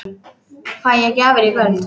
Fæ ég gjafir í kvöld?